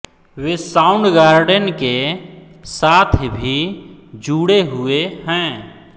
वे Soundgarden के साथ भी जुड़े हुए हैं